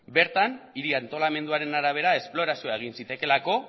bertan hiri antolamenduaren arabera esplorazioa egin zitekeelako